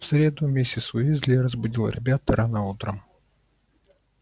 в среду миссис уизли разбудила ребят рано утром